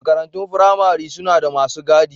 Makarantun firamare suna da masu gadi.